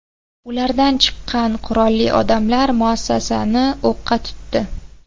Ulardan chiqqan qurolli odamlar muassasani o‘qqa tutdi.